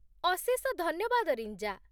ଅଶେଷ ଧନ୍ୟବାଦ, ରିଞ୍ଜା